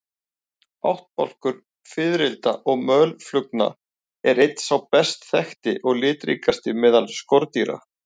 Ættbálkur fiðrilda og mölflugna er einn sá best þekkti og litríkasti meðal skordýra.